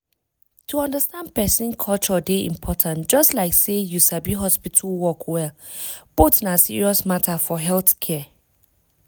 to understand person culture dey important just like say you sabi hospital work well — both na serious matter for healthcare.